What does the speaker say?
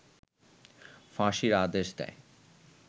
ফাঁসির আদেশ দেয়